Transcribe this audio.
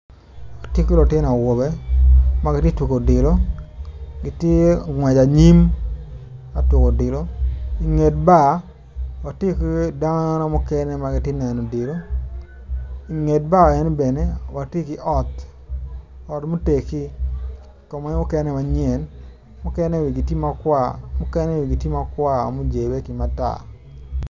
Watye ki lutino awobe ma gitye ka tuko odilo mukene tye i anyim ka tuko odilo i dyebar watye ki dano mukene ma gitye ka neno odilo i nget bar enoni bene watye ki got